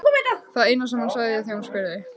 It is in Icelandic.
Það eina sem hann sagði þegar hún spurði.